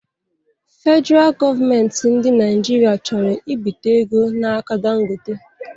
Fedraa gọọmenti ndị Naịjirịa chọrọ ibite ego n'aka Dangote